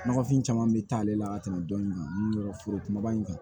Nɔgɔfin caman bɛ taa ale la ka tɛmɛ dɔni kan foro kumaba in kan